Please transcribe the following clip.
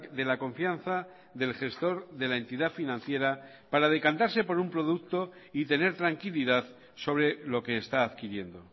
de la confianza del gestor de la entidad financiera para decantarse por un producto y tener tranquilidad sobre lo que está adquiriendo